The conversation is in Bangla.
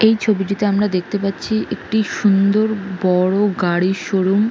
এই ছবিটিতে আমাকে দেখতে পাচ্ছি একটি সুন্দর বড় গাড়ির শোরুম।